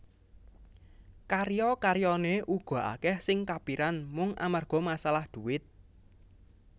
Karya karyané uga akèh sing kapiran mung amarga masalah dhuwit